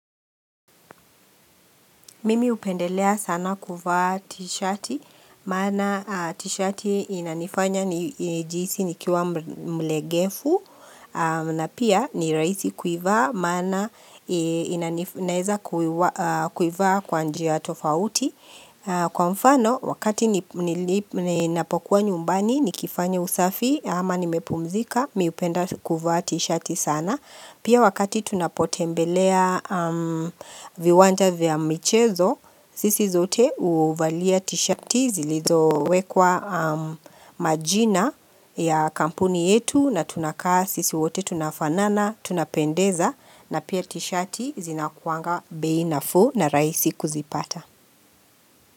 Mimi hupendelea sana kuvaa t-shati, maana t-shati inanifanya ni jihisi nikiwa mlegefu, na pia ni raisi kuivaa, maana ina naeza kuivaa kwa njia tofauti. Kwa mfano, wakati ni napokuwa nyumbani, nikifanya usafi, ama nimepumzika, mi hupenda kuvaa t-shati sana. Pia wakati tunapotembelea viwanja vya michezo, sisi zote uvalia tishati zilizo wekwa majina ya kampuni yetu na tunakaa sisi wote tunafanana, tunapendeza na pia tishati zinakuanga bei nafuu na raisi kuzipata.